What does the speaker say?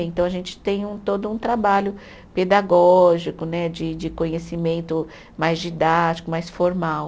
Então, a gente tem um, todo um trabalho pedagógico né, de de conhecimento mais didático, mais formal.